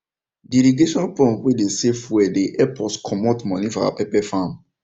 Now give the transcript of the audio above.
the irrigation pump wey dey save fuel dey help us comot money for our pepper farm